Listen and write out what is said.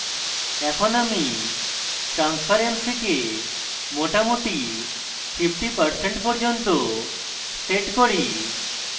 এখন আমি transparency কে মোটামুটি 50% পর্যন্ত set করি